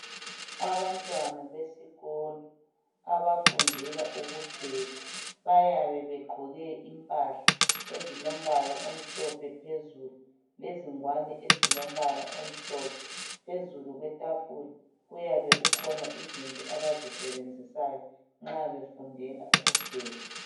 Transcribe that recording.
Abantwana besikolo abafundela ukupheka bayabe begqoke impahla ezilombala omhlophe phezulu lezingwane ezilombala omhlophe. Phezulu kwetafula kuyabe kukhona izinto abazisebenzisayo nxa befundela ukupheka.